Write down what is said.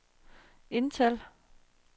indtal